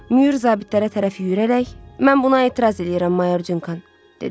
Myur zabitlərə tərəf yüyürərək, mən buna etiraz eləyirəm, Mayor Canqan, dedi.